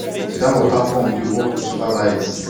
that water pump dey work with solar light